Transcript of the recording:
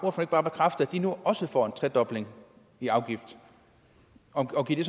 bekræfte at de nu også får en tredobling i afgift og giver det